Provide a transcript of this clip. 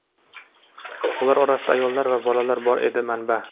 Ular orasida ayollar va bolalar bor”, dedi manba.